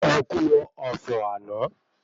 Ẹkú ọ̀fọ̀ àná